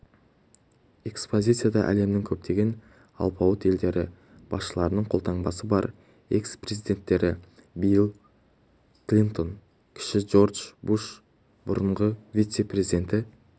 экспозицияда әлемнің көптеген алпауыт елдері басшыларының қолтаңбасы бар экс-президенттері билл клинтон кіші джордж буш бұрынғы вице-президенті